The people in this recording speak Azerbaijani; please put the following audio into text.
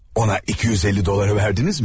Ona 250 dolları verdinizmi?